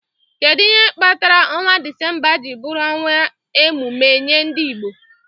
Kedu ihe kpatara ọnwa Disemba ji bụrụ ọnwa emume nye ndị Igbo?